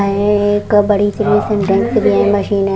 अअअ एक बड़ी सी मशीन --